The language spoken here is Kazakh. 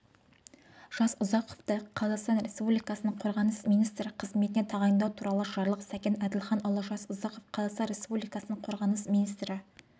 жасұзақовты қазақстан республикасының қорғаныс министрі қызметіне тағайындау туралы жарлық сәкен әділханұлы жасұзақов қазақстан республикасының қорғаныс министрі